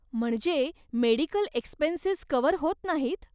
म्हणजे medical expenses cover होत नाहीत?